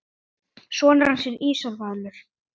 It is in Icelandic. Sonur hans er Ísar Valur.